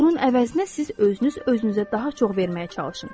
Bunun əvəzinə siz özünüz özünüzə daha çox verməyə çalışın.